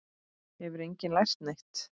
Hefur enginn lært neitt?